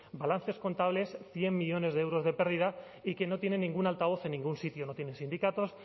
balances contables cien millónes de euros de pérdida y que no tiene ningún altavoz en ningún sitio no tienen sindicatos